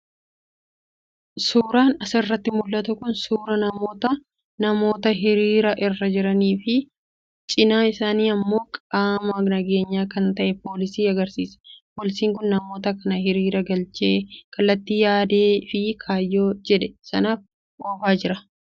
Suuraan asirraa mul'atu kun suuraa namoota namoota hiriira irra jiranii fi cinaa isaanii immoo qaama nageenyaa kan ta'e poolisii agarsiisa. Poolisiin kun namoota kana hiriira galchee kallattii yaadee fi kaayyoo jedhe sanaaf oofaa jira.